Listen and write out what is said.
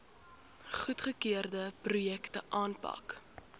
goedgekeurde projekte aanpak